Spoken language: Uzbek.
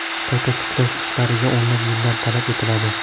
Qayta tiklash ishlariga o‘nlab yillar talab etiladi.